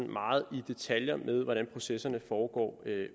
meget i detaljer med hvordan processerne foregår